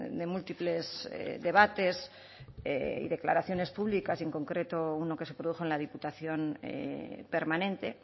de múltiples debates y declaraciones públicas y en concreto uno que se produjo en la diputación permanente